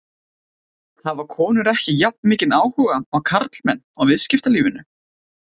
Hafa konur ekki jafnmikinn áhuga og karlmenn á viðskiptalífinu?